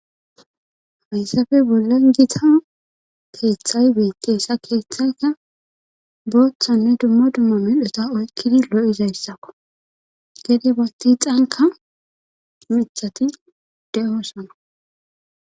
Hayssafe bolle gita keeththay beeqqeessa keeththata booththanne dumma dumma midhota oykkidi lo7izayssako gede bati xanka mithati de,oossana